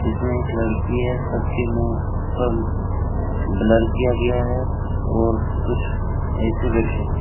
इसमें एक लड़की हैसबके मुंह पर ब्लर किया गया है और कुछ ऐसे बैठे है।